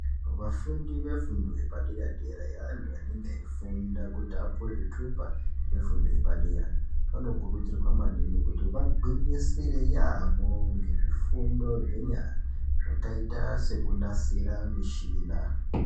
Vafundi vefundo yepadera-dera yeantu anenge eifunda kuti apuwe zvithupa zvefundo yepadera anokurudzirwa maningi kuti vagwinyisire yaamho ngezvifundo zvenyara zvakaita sekunasira michina.